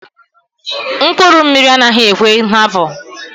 Mkpụrụ mmiri anaghị ekwe nhapu.